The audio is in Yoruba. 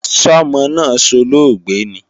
Sọ́mọ náà solóògbé ni?